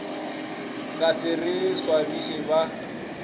ka se re swabiše ba